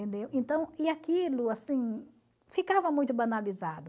Entendeu? Então, e aquilo assim, ficava muito banalizado.